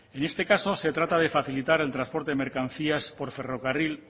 en este caso se trata de facilitar el transporte de mercancías por ferrocarril